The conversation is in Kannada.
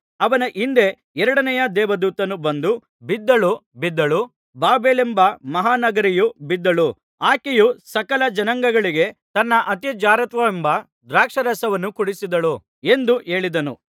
ಅವನ ಹಿಂದೆ ಎರಡನೆಯ ದೇವದೂತನು ಬಂದು ಬಿದ್ದಳು ಬಿದ್ದಳು ಬಾಬೆಲೆಂಬ ಮಹಾನಗರಿಯು ಬಿದ್ದಳು ಆಕೆಯು ಸಕಲ ಜನಾಂಗಗಳಿಗೆ ತನ್ನ ಅತಿ ಜಾರತ್ವವೆಂಬ ದ್ರಾಕ್ಷಾರಸವನ್ನು ಕುಡಿಸಿದಳು ಎಂದು ಹೇಳಿದನು